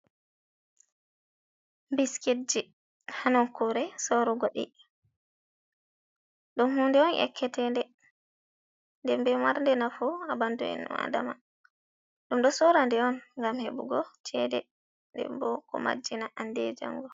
Biskit ji ha nokkure sorugo ɗii. Ɗum hunde on yakketende, nden bo mar nde nafu ha ɓandu innu adama. Ɗum ɗo sora nde on ngam heɓugo chede, nden bo ko majjina hande e jango.